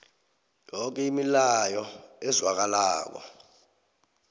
yoke imilayo ezwakalako